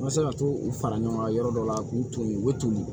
An ma se ka to u fara ɲɔgɔn kan yɔrɔ dɔ la k'u to ye u bɛ toli